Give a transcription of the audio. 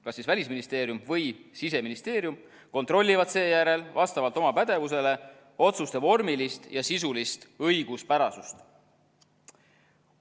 Kas Välisministeerium või Siseministeerium kontrollivad seejärel vastavalt oma pädevusele otsuste vormilist ja sisulist õiguspärasust.